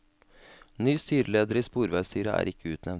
Ny styreleder i sporveisstyret er ikke utnevnt.